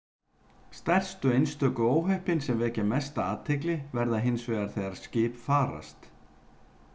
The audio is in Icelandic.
Stærstu einstöku óhöppin sem vekja mesta athygli verða hins vegar þegar skip farast.